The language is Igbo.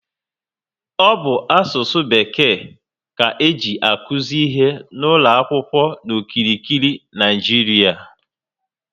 Ọ bụ asụsụ bekee ka eji akuzi ihe n'ụlọ akwụkwọ n'okirikiri Naịjiria